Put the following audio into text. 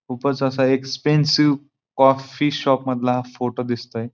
खुपच असा expensive coffee shop मधला हा फोटो दिसतोय.